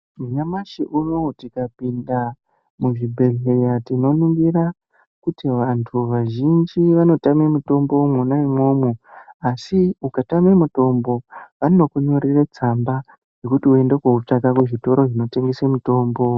Nyamashi unowu tikapinda muzvibhehleya tinonoingira kuti vantu vazhinji vanotama mutombo mwona umwomwo asi ukatame mutombo vanokunyorere tsamba yekuti eunde kotsvaka kuzvitoro zvinotengese mitombo.